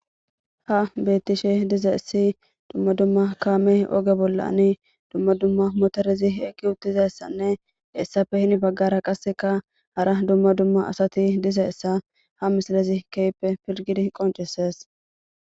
Ha beettishe diza essi dumma dumma kaame oge bollani dumma dumma motorezi eggi uttizassanne essafe hin baggara qasseka hara dumma dumma asati dizaessa ha misilezi keyppe pilgidi qonceses